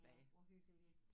Ja hvor hyggeligt